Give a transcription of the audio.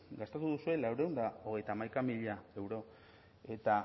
gastatu duzue laurehun eta hogeita hamaika mila euro eta